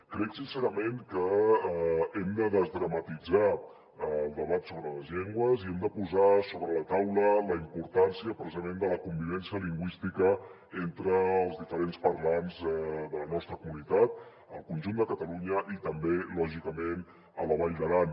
crec sincerament que hem de desdramatitzar el debat sobre les llengües i hem de posar sobre la taula la importància precisament de la convivència lingüística entre els diferents parlants de la nostra comunitat al conjunt de catalunya i també lògicament a la vall d’aran